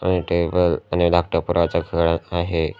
आणि टेबल आणि लॅपटॉप कुणाच्या घरात आहे.